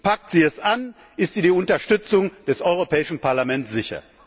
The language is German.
Packt sie es an, ist ihr die Unterstützung des Europäischen Parlaments sicher!